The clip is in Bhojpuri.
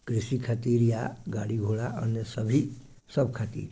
कृषि खातिर गाड़ी घोडा अन्य सभी सब खातिर--